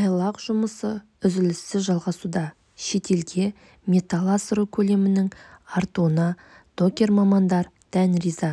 айлақ жұмысы үзіліссіз жалғасуда шетелге металл асыру көлемінің артуына докер-мамандар дән риза